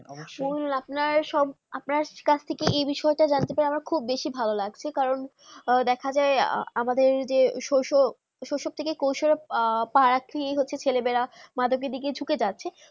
মূল আপনা কাছ থেকে যে বিষয় তা জানতে পেরে খুব ভালো লাগলো লাগছে কারণ দেখা যায় আমাদের যে সস স্বস্ব থেকে কসব বা একটি আহ হচ্ছে ছেলে মে রা মাদক দিকে চুকে যাচ্ছে